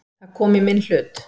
Það kom í minn hlut.